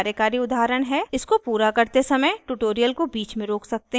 इसको पूरा करते समय ट्यूटोरियल को बीच में रोक सकते हैं और कोड टाइप करें